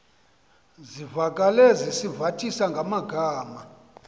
zivakale sizivathisa ngamagama